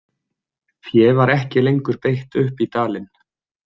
Fé var ekki lengur beitt upp í dalinn.